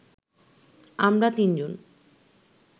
আমরা তিনজন